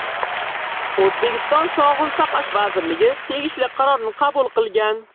O‘zbekiston Sog‘liqni saqlash vazirligi tegishli qarorni qabul qilgan.